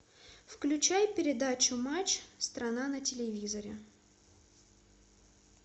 включай передачу матч страна на телевизоре